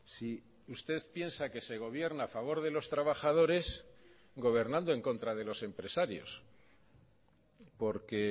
si usted piensa que se gobierna a favor de los trabajadores gobernando en contra de los empresarios porque